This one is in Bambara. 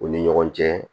U ni ɲɔgɔn cɛ